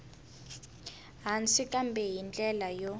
hansi kambe hi ndlela yo